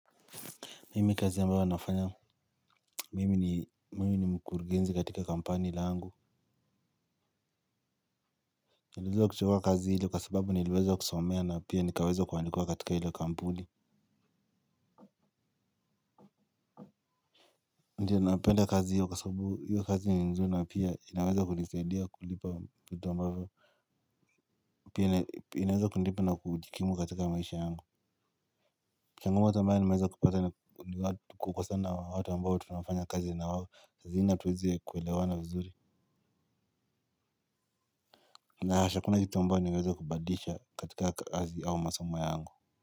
Mimi kazi ambayo nafanya, mimi ni mkurgenzi katika kampani langu. Niliweza kuchukuwa kazi hilo kwa sababu nileweza kusomea na pia nikaweza kuandikuwa katika hilo kampuni. Ndio napenda kazi hilo kwa sababu hilo kazi ni nzuri pia inaweza kunisadia, kulipa vitu ambayo. Pia inaweza kunipa na kujikimu katika maisha yangu. Changamoto ambayo nimaweza kupata ni kukosana watu ambao tunafanya kazi na wao. Lazima tuweze kuelewana vizuri. Na hasa hakuna kitu ambayo niweza kubadilisha katika kazi au masomo yangu.